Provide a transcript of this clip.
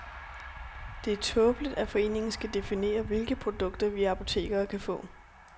Det er tåbeligt, at foreningen skal definere, hvilke produkter vi apotekere kan få.